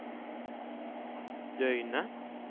døgnet